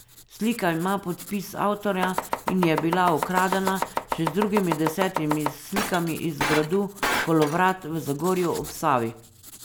Slika ima podpis avtorja in je bila ukradena še z drugimi desetimi slikami iz gradu Kolovrat v Zagorju ob Savi.